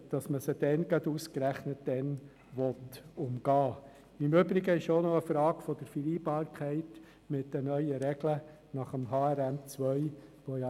Im Übrigen ist es auch eine Frage der Vereinbarkeit mit den neuen Regeln des Harmonisierten Rechnungslegungsmodells 2 (HRM2).